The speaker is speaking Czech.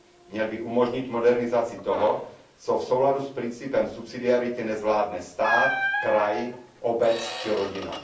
Měly by umožnit modernizaci toho, co v souladu s principem subsidiarity nezvládne stát, kraj, obec či rodina.